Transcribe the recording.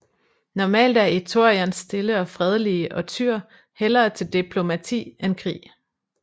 Normalt er Ithorians stille og fredelige og tyr hellere til deplomati end krig